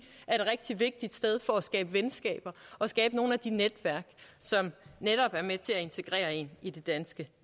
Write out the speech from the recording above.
er et rigtig vigtigt sted for at skabe venskaber og skabe nogle af de netværk som netop er med til at integrere en i det danske